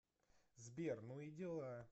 сбер ну и дела